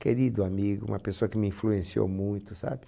Querido amigo, uma pessoa que me influenciou muito, sabe?